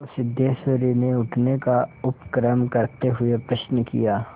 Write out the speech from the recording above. तो सिद्धेश्वरी ने उठने का उपक्रम करते हुए प्रश्न किया